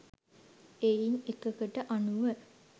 එයින් එකකට අනුව